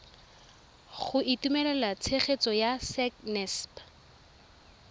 go itumelela tshegetso ya sacnasp